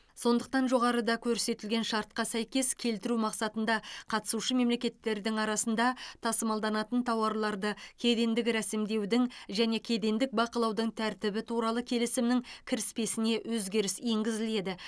сондықтан жоғарыда көрсетілген шартқа сәйкес келтіру мақсатында қатысушы мемлекеттердің арасында тасымалданатын тауарларды кедендік ресімдеудің және кедендік бақылаудың тәртібі туралы келісімнің кіріспесіне өзгеріс енгізіледі